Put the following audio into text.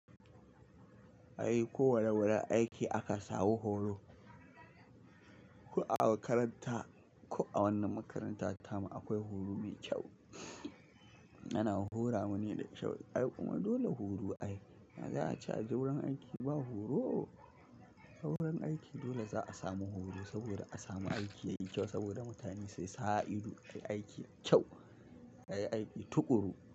Ai ko wane wurin aiki aka samu horo, ko a makaranta, ko a wannan makaranta ta mu akwai horo mai kyau. Ana hora mu ne da kyau. Ai kuma dole horo ayi. Ya za'a ce a je wurin aiki ba horo? A wurin aiki dole za'a samu horo, saboda a samu aiki yayi kyau, saboda mutane su sa ido suyi aiki mai kyau, ayi aiki tuƙuru.